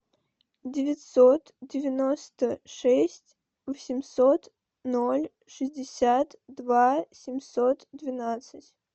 девятьсот девяносто шесть восемьсот ноль шестьдесят два семьсот двенадцать